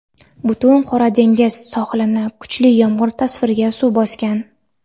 butun Qora dengiz sohilini kuchli yomg‘ir ta’sirida suv bosgan.